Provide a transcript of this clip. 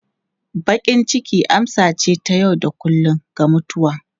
Bakin ciki amsa ce ta yau da kullun ga mutuwa.